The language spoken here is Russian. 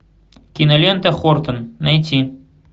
кинолента хортон найти